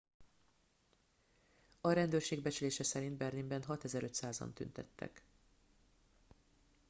a rendőrség becslése szerint berlinben 6500 an tüntettek